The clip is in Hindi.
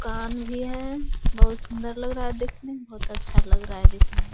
कान भी है बहुत सुंदर लग रहा देखने में बहुत अच्छा लग रहा है देखने --